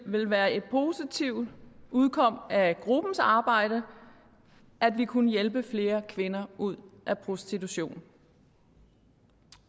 ville være et positivt udkomme af gruppens arbejde at vi kunne hjælpe flere kvinder ud af prostitution